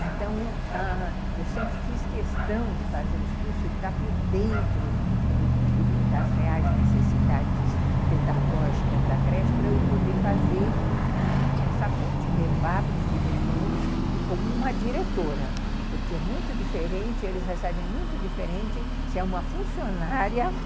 Então, ãh, eu sempre fiz questão de fazer os cursos e estar por dentro das reais necessidades pedagógicas da creche para eu poder fazer, ãh, essa ponte, levar para os diretores e como uma diretora, porque é muito diferente, eles recebem muito diferente se é uma funcionária